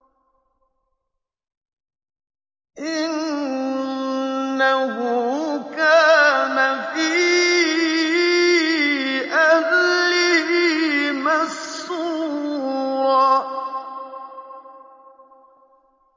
إِنَّهُ كَانَ فِي أَهْلِهِ مَسْرُورًا